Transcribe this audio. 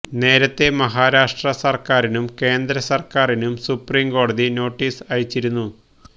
നേരത്തെ മഹാരാഷ്ട്ര സര്ക്കാരിനും കേന്ദ്ര സര്ക്കാറിനും സുപ്രീംകോടതി നോട്ടീസ് അയച്ചിരുന്നു